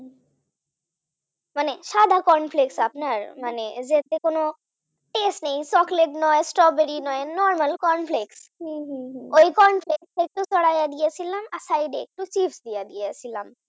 সাদা corn flakes আপনার মানে এতে কোন taste নেই Chocolate নয় Strawberry নয় normal corn flakes ওই corn flakes একটু ছড়াইয়ে দিয়েছিলাম side একটু Chips দিয়ে দিয়েছিলাম